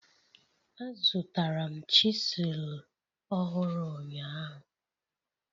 Azụtara m chisilu ọhụrụ ụnyahụ.